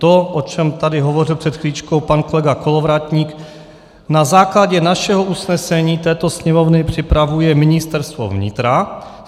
To, o čem tady hovořil před chviličkou pan kolega Kolovratník, na základě našeho usnesení této Sněmovny připravuje Ministerstvo vnitra.